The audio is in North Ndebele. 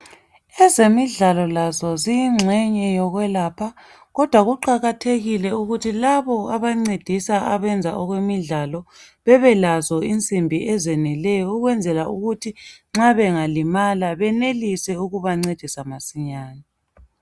Ezemidlalo lazo ziyi ngxenye yokwelapha kodwa kuqakathekile ukuthi labo abancedisa ukwenza okwemidlalo bebelazo insimbi ezeneleyo ukwenzela ukuthi nxa bengalimala benelise ukubancedisa masinyane.